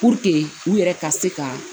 Puruke u yɛrɛ ka se ka